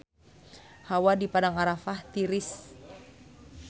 Hawa di Padang Arafah tiris